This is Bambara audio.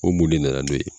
O mun de nana n'o ye